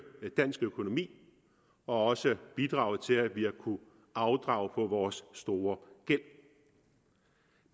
dansk økonomi og også bidraget til at vi har kunnet afdrage på vores store gæld